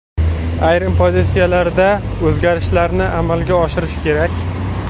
Ayrim pozitsiyalarda o‘zgarishlarni amalga oshirish kerak.